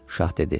Şah dedi.